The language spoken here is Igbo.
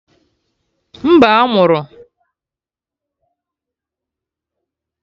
Mba, a mụrụ